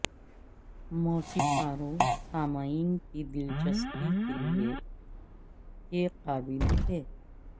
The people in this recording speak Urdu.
موسیقاروں سامعین کی دلچسپی کے لئے کے قابل تھے